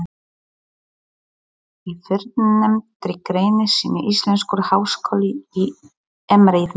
Í fyrrnefndri grein sinni Íslenskur háskóli í Eimreiðinni